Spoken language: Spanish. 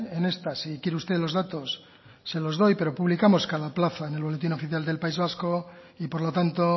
en estas si quiere usted los datos se los doy pero publicamos cada plaza en el boletín oficial del país vasco y por lo tanto